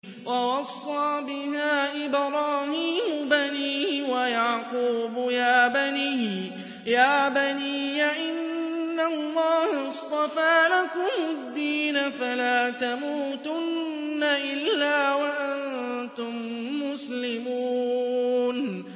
وَوَصَّىٰ بِهَا إِبْرَاهِيمُ بَنِيهِ وَيَعْقُوبُ يَا بَنِيَّ إِنَّ اللَّهَ اصْطَفَىٰ لَكُمُ الدِّينَ فَلَا تَمُوتُنَّ إِلَّا وَأَنتُم مُّسْلِمُونَ